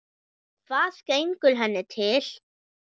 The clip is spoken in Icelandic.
Hvað gengur henni til?